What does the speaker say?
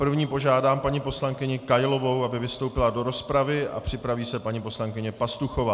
První požádám paní poslankyni Kailovou, aby vystoupila do rozpravy, a připraví se paní poslankyně Pastuchová.